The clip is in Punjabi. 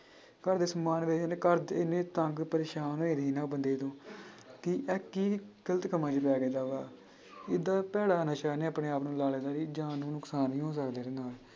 ਘਰਦੇ ਸਮਾਨ ਵੇਚਣ ਘਰਦੇ ਇੰਨੇ ਤੰਗ ਪਰੇਸਾਨ ਹੋਏ ਸੀ ਨਾ ਉਹ ਬੰਦੇ ਤੋਂ ਕਿ ਇਹ ਕੀ ਗ਼ਲਤ ਕੰਮਾਂ 'ਚ ਪੈ ਏਡਾ ਭੈੜਾ ਨਸ਼ਾ ਇਹਨੇ ਆਪਣੇ ਆਪ ਨੂੰ ਲਾ ਲਿਆ ਸੀ, ਜਾਨ ਨੂੰ ਨੁਕਸਾਨ ਵੀ ਹੋ ਸਕਦਾ ਇਹਦੇ ਨਾਲ।